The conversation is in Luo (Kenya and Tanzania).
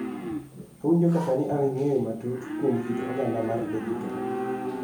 Awinjo ka sani an gi ng�eyo matut kuom kit oganda mar dijitol